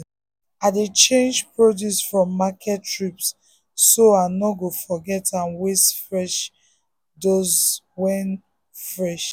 i dey change produce from market trips so i no go forget and waste fresh doze one wey fresh.